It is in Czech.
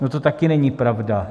No to taky není pravda.